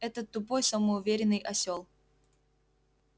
этот тупой самоуверенный осёл